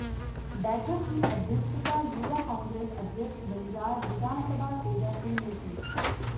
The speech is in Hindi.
बैठक की अध्यक्षता युवा कांग्रेस अध्यक्ष बंजार विधानसभा तेजा सिंह ने की